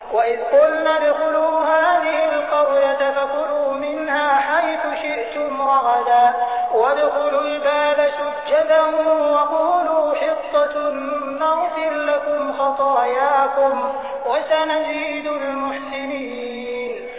وَإِذْ قُلْنَا ادْخُلُوا هَٰذِهِ الْقَرْيَةَ فَكُلُوا مِنْهَا حَيْثُ شِئْتُمْ رَغَدًا وَادْخُلُوا الْبَابَ سُجَّدًا وَقُولُوا حِطَّةٌ نَّغْفِرْ لَكُمْ خَطَايَاكُمْ ۚ وَسَنَزِيدُ الْمُحْسِنِينَ